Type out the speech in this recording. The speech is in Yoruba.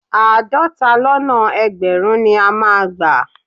Àádọ́ta lọ́nà ẹgbẹ̀rún ni ó máa gbà.